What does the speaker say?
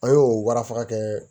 An y'o warafaga kɛ